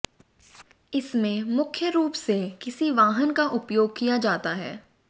इसमें मुख्य रूप से किसी वाहन का उपयोग किया जाता है